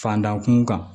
Fandan kun kan